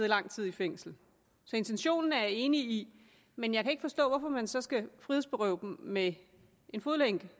lang tid i fængsel så intentionen er jeg enig i men jeg kan ikke forstå hvorfor man så skal frihedsberøve dem med en fodlænke